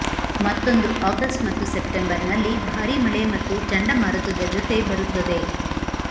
ಮತ್ತೊಂದು ಆಗಸ್ಟ್ ಮತ್ತು ಸೆಪ್ಟೆಂಬರ್ನಲ್ಲಿ ಭಾರಿ ಮಳೆ ಮತ್ತು ಚಂಡಮಾರುತದ ಜೊತೆ ಬರುತ್ತದೆ